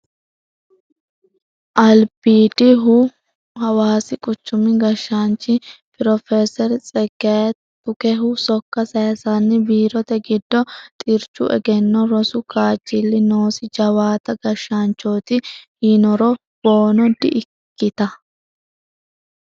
Albidihu hawaasi quchumi gashshaanchi professor Tsegaye Tukehu sokka sayisanni biirote giddo xirchu egenno rosu kaajjili noosi jawaatta gashshaanchoti yiniro boona di"ikkitta